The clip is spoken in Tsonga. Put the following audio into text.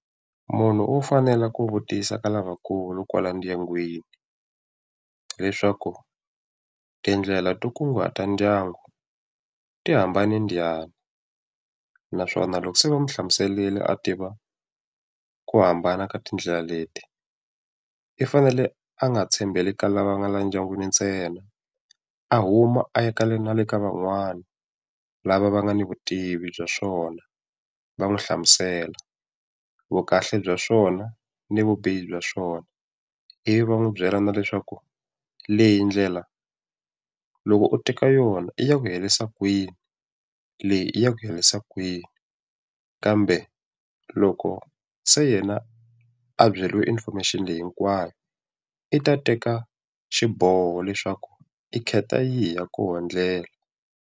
Munhu u fanele ku vutisa ka lavakulu kwala ndyangwini, leswaku tindlela to kunguhata ndyangu ti hambane njhani, naswona loko se va n'wi hlamuserile a tiva ku hambana ka tindlela leti, i fanele a nga tshembeli ka lava nga le ndyangwini ntsena, a huma a ya na le ka van'wana lava va nga ni vutivi bya swona va n'wi hlamusela vukahle bya swona ni vubihi bya swona Ivi va n'wi byela na leswaku leyi ndlela loko u teka yona i ya ku herisa kwini, leyi i ya ku herisa kwini. Kambe loko se yena a byeriwe information leyi hinkwayo, i ta teka xiboho leswaku i khetha yihi ya koho ndlela.